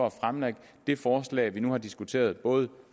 at fremlægge det forslag vi har diskuteret både